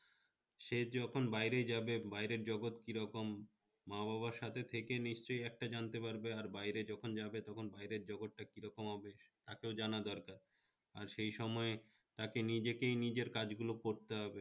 সে যখন বাইরে যাবে, বাইরের জগত কি রকম? মা-বাবার সাথে থেকে নিশ্চয়ই একটা জানতে পারবে আর বাইরে যখন যাবে, তখন বাইরের জগতটা কি রকম হবে? তা তো জানা দরকার আর সেই সময় তাকে নিজেকেই নিজের কাজগুলো করতে হবে